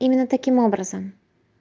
именно таким образом